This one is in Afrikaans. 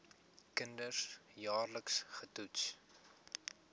kinders jaarliks getoets